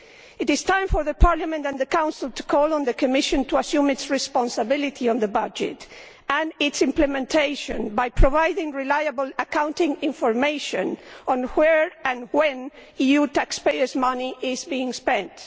It is time for Parliament and the Council to call on the Commission to assume its responsibility on the budget and its implementation by providing reliable accounting information as to where and when EU taxpayers' money is being spent.